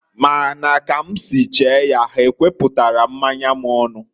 Ma na ka m si chee ya, ha ekweputaro mmanya m onu.